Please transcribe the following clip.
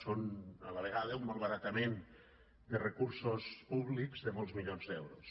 són a la vegada un malbaratament de recursos públics de molts milions d’euros